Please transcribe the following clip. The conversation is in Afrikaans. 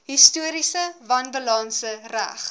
historiese wanbalanse reg